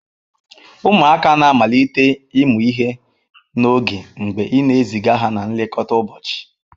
Ụmụaka na-amalite ịmụ ihe n'oge mgbe ị na-eziga ha na nlekọta ụbọchị.